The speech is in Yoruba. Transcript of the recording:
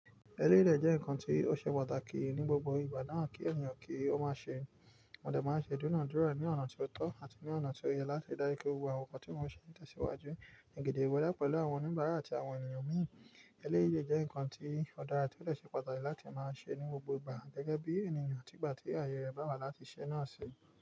Eléyi dẹ́ nǹkan tí ó ṣe pàtàkì ní gbogbo ìgbà náà kí ènìyàn kí ó má ṣe. Mo de máa ń ṣe idunadura ní ọ̀nà tó tọ́ àti ní ọ̀nà tó yẹ láti dáńkọ́ gbogbo àwọn nǹkan tí wọ́n ṣe nípasẹ̀ iwájú, nígedengbe dá pẹ̀lú àwọn oníbàárà àti àwọn ènìyàn mìíràn. Eléyi le jẹ́ nǹkan tí Ọ̀ dà to de sẹ pàtàkì láti máa ń ṣe ní gbogbo ìgbà gẹ́gẹ́ bí ènìyàn àti ìgbà tí ayé rẹ̀ bá wà láti ṣẹ́ náà ṣe.